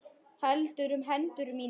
Heldur um hendur mínar.